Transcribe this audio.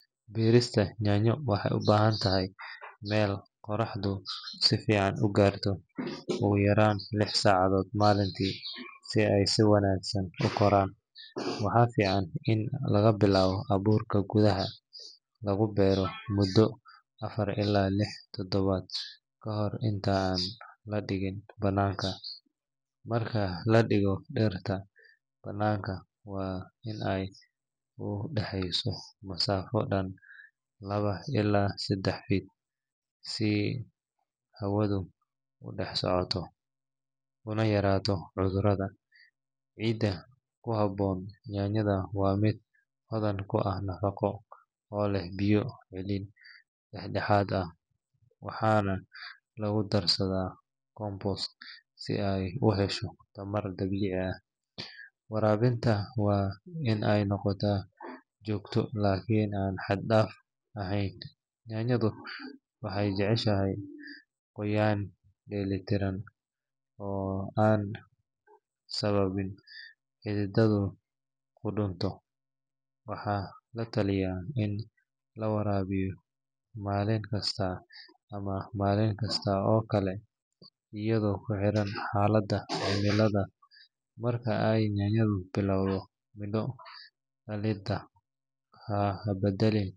Beerista yaanyo waxay u baahan tahay meel qoraxdu si fiican u gaarto ugu yaraan lix saacadood maalintii si ay si wanaagsan u koraan. Waxaa fiican in laga bilaabo abuur gudaha lagu beero muddo afar ilaa lix toddobaad ka hor inta aan la dhigin bannaanka. Marka la dhigo dhirta bannaanka, waa in ay u dhaxayso masaafo dhan laba ilaa saddex fuudh si hawadu u dhex socoto una yaraato cudurrada. Ciidda ku habboon yaanyada waa mid hodan ku ah nafaqo oo leh biyo celin dhexdhexaad ah waxaana lagu darsadaa compost si ay u hesho tamar dabiici ah. Waraabintu waa in ay noqotaa joogto laakiin aan xad-dhaaf ahayn, yaanyadu waxay jeceshahay qoyaan dheellitiran oo aan sababin in xididdadu qudhunto. Waxaa la talinayaa in la waraabiyo maalin kasta ama maalin kasta oo kale iyadoo ku xiran xaaladda cimilada. Marka ay yaanyadu bilowdo midho dhalidda, ha badalin.